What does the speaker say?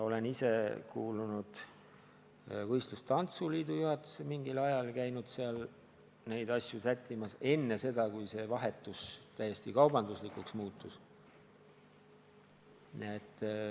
Olen ise mingil ajal kuulunud võistlustantsu liidu juhatusse ja käinud neid asju sättimas enne seda, kui see vahetus täiesti kaubanduslikuks muutus.